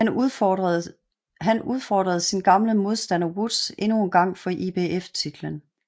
Han udfordrede sin gamle modstander Woods endnu engang for IBF titlen